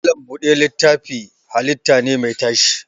Malam buɗe littafi halitta ne mai tashi